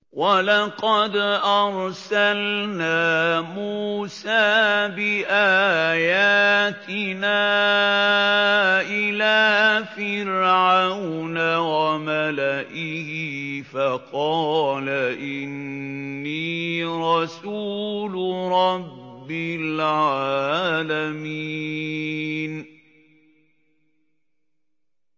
وَلَقَدْ أَرْسَلْنَا مُوسَىٰ بِآيَاتِنَا إِلَىٰ فِرْعَوْنَ وَمَلَئِهِ فَقَالَ إِنِّي رَسُولُ رَبِّ الْعَالَمِينَ